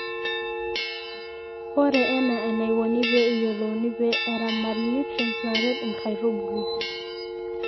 ore ena enaiko pee eyuolouni pee eramati nutrients naaret inakitubulu